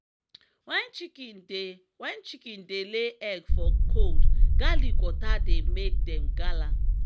wen chicken dey wen chicken dey lay egg for cold garlic water dey make dem gallant.